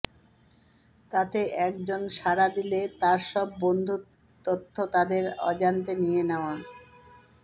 তাতে এক জন সাড়া দিলে তাঁর সব বন্ধুর তথ্য তাদের অজান্তে নিয়ে নেওয়া